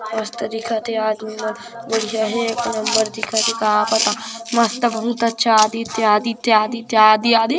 मस्त दिखत हे आदमी मन बढ़िया हे एक नंबर दिखत हे का पता मस्त बहुत अच्छा आदित्य आदित्य आदित्य आदित्य आदि आदि--